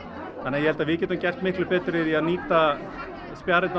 þannig ég held við getum gert mikið betur í því að nýta